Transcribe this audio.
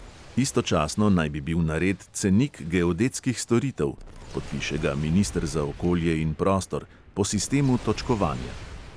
Istočasno naj bi bil nared cenik geodetskih storitev (podpiše ga minister za okolje in prostor) po sistemu točkovanja.